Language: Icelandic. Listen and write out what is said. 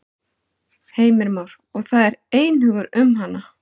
Heimir Már: Og það er einhugur um hana?